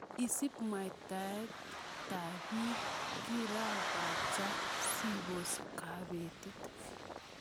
Isib mwaetab bikab kirakacha sibos kobetet.